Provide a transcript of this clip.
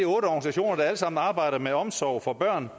organisationer der alle sammen arbejder med omsorg for børn